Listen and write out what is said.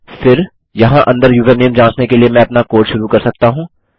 फिर यहाँ अंदर यूज़रनेम जाँचने के लिए मैं अपना कोड शुरू कर सकता हूँ